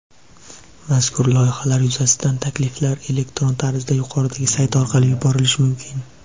Mazkur loyihalar yuzasidan takliflar elektron tarzda yuqoridagi sayt orqali yuborilishi mumkin.